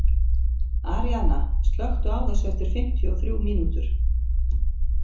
Aríaðna, slökktu á þessu eftir fimmtíu og þrjú mínútur.